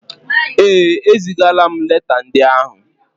Ee, ezigaala m leta ndị áhụ̀.